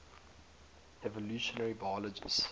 evolutionary biologists